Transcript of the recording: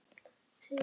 Nei svara þau bæði.